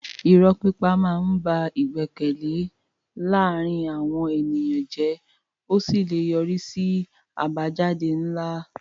Irọ́ pípa máa ń ba ìgbẹ́kẹ̀lé láàárín àwọn ènìyàn jẹ́ ó sì lè yọrí sí àbájáde ńlá.